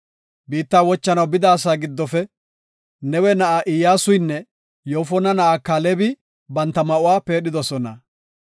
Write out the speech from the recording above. Biittaa wochanaw bida asaa giddofe Nawe na7aa Iyyasuynne Yoofona na7aa Kaalebi banta ma7uwa peedhidosona.